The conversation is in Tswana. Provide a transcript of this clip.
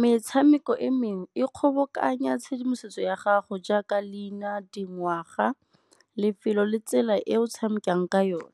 Metshameko e mengwe e kgobokanya tshedimosetso ya gago jaaka leina, dingwaga, lefelo le tsela e o tshamekang ka yone.